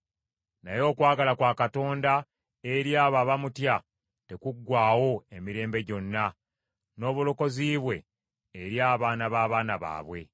Naye okwagala kwa Katonda eri abo abamutya tekuggwaawo emirembe gyonna, n’obulokozi bwe eri abaana b’abaana baabwe.